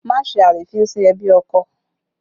Má ṣe àrífín sí ẹbí ọkọ!